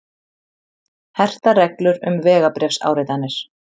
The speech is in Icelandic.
Hertar reglur um vegabréfsáritanir